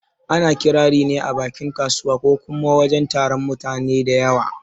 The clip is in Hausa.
Ana Ƙirari ne a bakin kasuwa ko kuma a wajen taron mutane da yawa